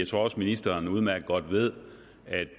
tror også ministeren udmærket godt ved at